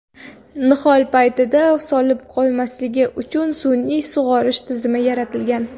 Nihol paytida so‘lib qolmasligi uchun sun’iy sug‘orish tizimi yaratilgan.